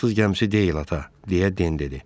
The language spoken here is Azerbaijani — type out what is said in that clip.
Fransız gəmisi deyil ata, deyə Den dedi.